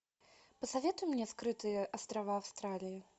посоветуй мне скрытые острова австралии